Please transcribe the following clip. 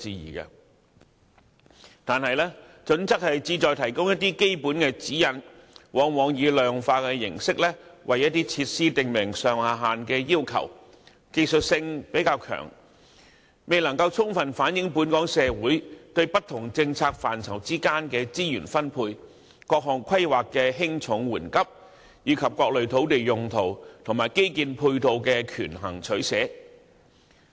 然而，《規劃標準》旨在提供基本的指引，往往以量化形式，為一些設施訂明上下限要求，較側重技術因素，未能充分反映社會對不同政策範疇的資源需求、各項規劃的輕重緩急，以及各類土地用途及基建配套的權衡取捨。